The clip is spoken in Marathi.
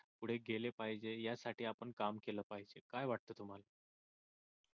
पुढे गेले पाहिजे यासाठी आपण काम केल पाहिजे काय वाटत तुम्हाला?